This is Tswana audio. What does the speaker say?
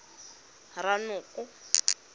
ranoko